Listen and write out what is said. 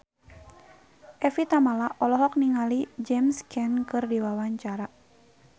Evie Tamala olohok ningali James Caan keur diwawancara